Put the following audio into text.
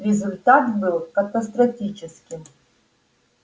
результат был катастрофическим